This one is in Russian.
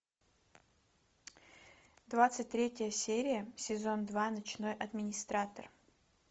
двадцать третья серия сезон два ночной администратор